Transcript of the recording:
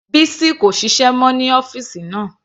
Bisi kò ṣiṣẹ́ mọ́ ní ọ́fìsì náà.